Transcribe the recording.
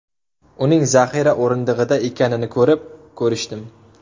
Uning zaxira o‘rindig‘ida ekanini ko‘rib, ko‘rishdim.